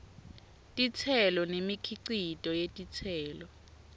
titselo nemikhicito yetitselo